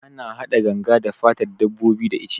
Ana hada ganga da fatan dabbobi da ice